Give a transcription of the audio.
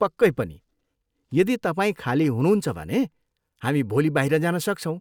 पक्कै पनि, यदि तपाईँ खाली हुनुहुन्छ भने हामी भोलि बाहिर जान सक्छौँ।